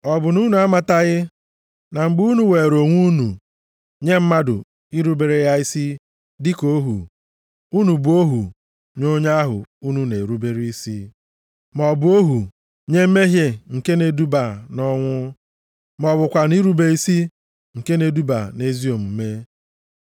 Ọ bụ na unu amataghị na mgbe unu weere onwe unu nye mmadụ irubere ya isi dịka ohu, unu bụ ohu nye onye ahụ unu na-erubere isi, maọbụ ohu nye mmehie nke na-eduba nʼọnwụ, ma ọ bụkwanụ irube isi nke na-eduba nʼezi omume?